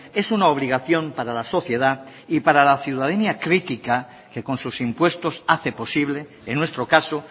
es una obligación para la sociedad y para la ciudadanía crítica que con sus impuestos hace posible en nuestro caso